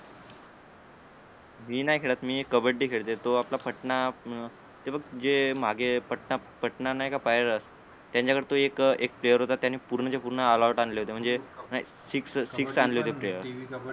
मी नाही खेळत मी कब्बडी खेळतो तो आपला पटना अं हे बघ जे मागे पटना पटना नाहीका पाहील त्यांच्या कडे तो एक एक player होता त्याने पूर्ण च्या पूर्ण ऑल आऊट आणले होत म्हणजे नाही six six आणले होते player